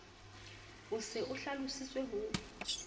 o se a hlalositse ho